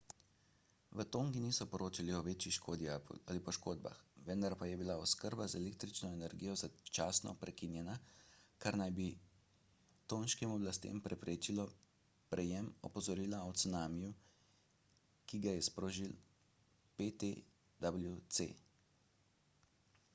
v tongi niso poročali o večji škodi ali poškodbah vendar pa je bila oskrba z električno energijo začasno prekinjena kar naj bi tonškim oblastem preprečilo prejem opozorila o cunamiju ki ga je sprožil ptwc